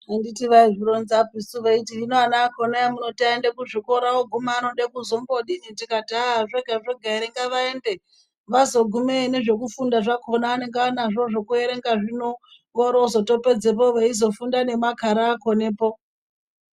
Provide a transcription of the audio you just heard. Anditi vaizvironza suu veiti hino ana akhona emunoti aende muzvikora ooguma anode kuzombodini tikati aaah! zvega-zvega ere ngavaende vazogumeyo nezvekufunda zvakhona anenge anazvo zvekuerenga zvino oroozotopedzepo veizofunda nemakhara akhonepo.